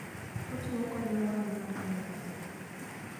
Ochiwo kony ne ohala mar piny mangima.